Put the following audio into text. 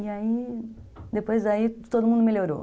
E aí, depois aí, todo mundo melhorou.